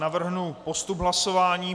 Navrhnu postup hlasování.